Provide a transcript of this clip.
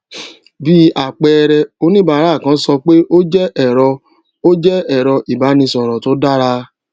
bí àpẹẹrẹ oníbàárà kan sọ pé ó jé èrọ ó jé èrọ ìbánisòrò tó dára